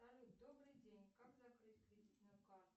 салют добрый день как закрыть кредитную карту